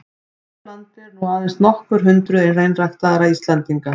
Hér á landi eru nú aðeins nokkur hundruð hreinræktaðra einstaklinga.